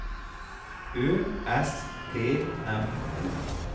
Ø S T M O